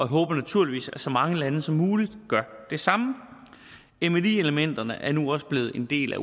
håber naturligvis at så mange lande som muligt gør det samme mli elementerne er nu også blevet en del af